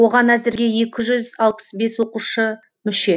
оған әзірге екі жүз алпыс бес оқушы мүше